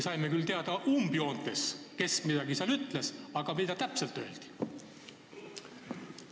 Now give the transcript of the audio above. Saime küll üldjoontes teada, kes midagi ütles, aga mida täpselt öeldi?